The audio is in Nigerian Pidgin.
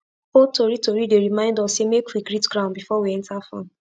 old tori tori dey remind us say make we greet ground before we enter farm